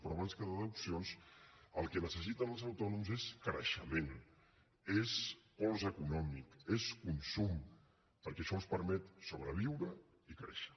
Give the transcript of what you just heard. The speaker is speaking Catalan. però abans que deduccions el que necessiten els autònoms és creixement és pols econòmic és consum perquè això els permet sobreviure i créixer